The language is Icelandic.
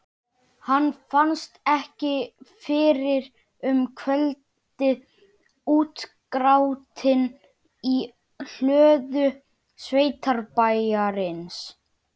Hann fannst ekki fyrren um kvöldið, útgrátinn í hlöðu sveitabæjarins.